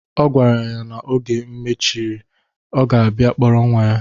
Ọ gwara ya na oge ha mechiri, ọ ga-abịa kpọrọ nwa ya.